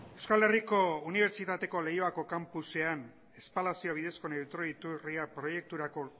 euskal herriko unibertsitateko leioako kanpusean espalazio bidezko neutroi iturria proiekturako